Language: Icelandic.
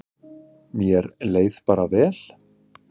Mér leið bara vel.